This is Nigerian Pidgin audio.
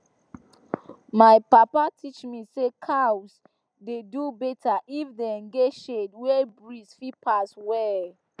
my papa teach me say cows dey do better if dem get shade wey breeze fit pass well